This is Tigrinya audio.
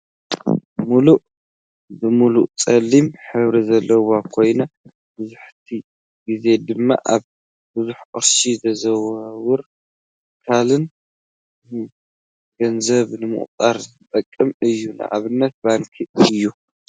ሙሉእ ብሙሉእ ፀሊም ሕብሪ ዘለዎ ኮይና መብዛሕቲኡ ግዜ ድማ ኣብ ብዙሕ ቅርሺ ዘዘዋውሩ ትካላት ንገንዘብ ንምቁፃር ዝጥቀምሉ እዩ። ንኣብነት ባንኪ እዩ።